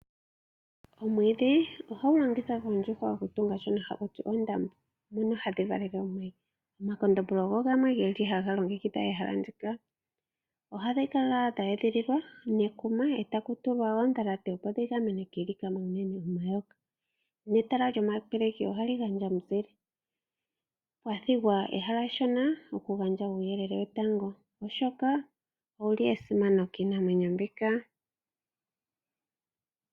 Omwiidhi ohagu longithwa koondjuhwa oku tunga shoka hakuti ondama mono hadhi valele omayi, omakondombolo ogo gamwe geli haga longekidha ehala ndika, ohadhi kala dha edhililwa nekuma etakutulwa odhalate opo dhi gamenwe kiilikama uunene omayoka, netala lyomapeleki ohali gandja omuzile, opwa thigwa ehala eshona oku gandja uuyelele wetango oshoka owuli esimano kiinamwenyo mbika.